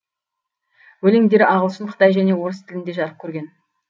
өлеңдері ағылшын қытай және орыс тілінде жарық көрген